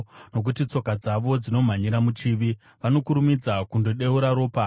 nokuti tsoka dzavo dzinomhanyira muchivi, vanokurumidza kundodeura ropa.